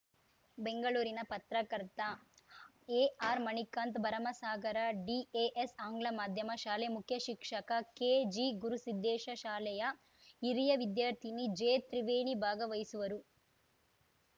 ಬೆಂಗಳೂರಿನ ಪತ್ರಕರ್ತ ಎಆರ್‌ಮಣಿಕಾಂತ್‌ ಭರಮಸಾಗರ ಡಿಎಎಸ್‌ ಆಂಗ್ಲ ಮಾಧ್ಯಮ ಶಾಲೆ ಮುಖ್ಯ ಶಿಕ್ಷಕ ಕೆಜಿಗುರುಸಿದ್ಧೇಶ ಶಾಲೆಯ ಹಿರಿಯ ವಿದ್ಯಾರ್ಥಿನಿ ಜೆತ್ರಿವೇಣಿ ಭಾಗವಹಿಸುವರು